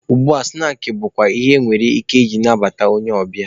Ugbua, snaakị bụkwa ihe enwere ike ije nabata onye ọbịa.